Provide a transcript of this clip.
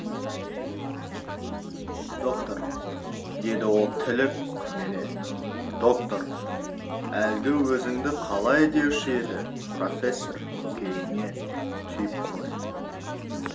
доктор деді ол тілі күрмеле доктор әлгі өзіңді қалай деуші еді профессор көкейіңе түйіп қой